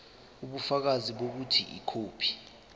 ubufakazi bokuthi ikhophi